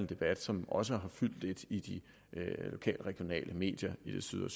debat som også har fyldt lidt i de lokale og regionale medier i det syd og